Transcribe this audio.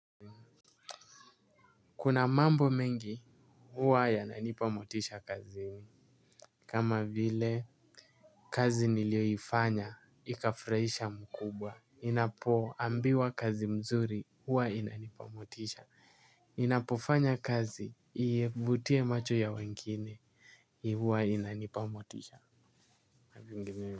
Kuna mambo mengi huwa yananipa motisha kazini. Kama vile, kazi niliyoifanya ikafurahisha mkubwa ninapoambiwa kazi mzuri huwa inanipa motisha. Ninapofanya kazi ivutie macho ya wengine huwa inanipa motisha.